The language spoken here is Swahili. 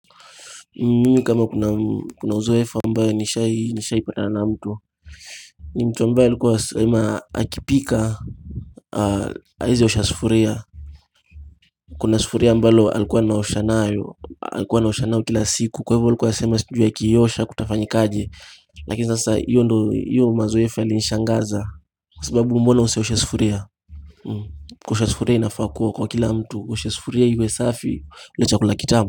Mimi kama kuna uzoefu ambayo nishai nishaipatana na mtu ni mtu ambayo alikuwa anasema akipika haezi osha sufuria kuna sufuria ambalo alikuwa anosha nayo alikuwa anaosha nayo kila siku kwa ivo alikuwa anasema sijui akiiosha kutafanyikaje lakini sasa hiyo ndo hiyo mazoefu yalinishangaza kwa sababu mbona usioshe sufuria kuosha sufuria inafaa kuwa kwa kila mtu uoshe sufuria iwe safi ule chakula kitamu.